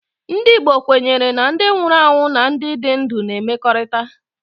Ndị Igbo kwenyere na ndị nwụrụ anwụ na ndị dị ndụ na-emekọrìta